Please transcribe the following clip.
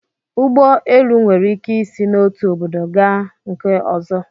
Ụgbọ elu nwere ike isi n'otu obodo gaa nke ọzọ